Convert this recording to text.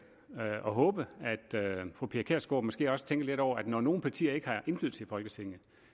og håbe at fru pia kjærsgaard måske også tænker lidt over at når nogle partier ikke har indflydelse i folketinget